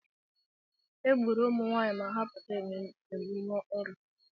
Egburu ụmụnwaanyị ma ha pụta emume Oro.